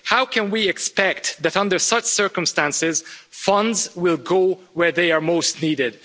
How can we expect that under such circumstances, funds will go where they are most needed?